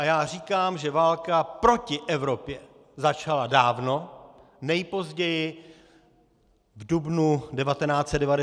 A já říkám, že válka proti Evropě začala dávno, nejpozději v dubnu 1999 napadením Jugoslávie.